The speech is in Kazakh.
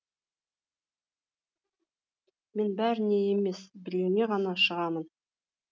мен бәріңе емес біреуіңе ғана шығамын